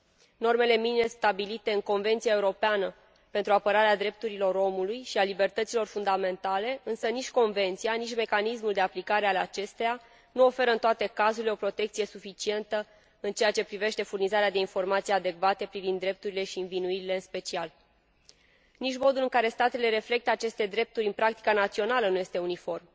Nici normele minime stabilite în Convenția europeană pentru apărarea drepturilor omului și a libertăților fundamentale, nici Convenția și nici mecanismul de aplicare al acesteia nu oferă în toate cazurile o protecție suficientă în ceea ce privește furnizarea de informații adecvate privind drepturile și, în special, învinuirile. Modul în care statele reflectă aceste drepturi în practica națională nu este uniform.